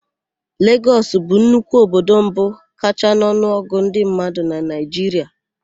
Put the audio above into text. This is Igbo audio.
Legọs bụ nnukwu obodo mbụ kachaa n'ọnụọgụ ndị mmadụ na Naịjiria.